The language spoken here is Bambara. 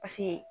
Paseke